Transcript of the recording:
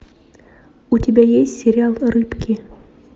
у тебя есть сериал рыбки